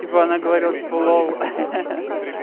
типа она говорила типа лол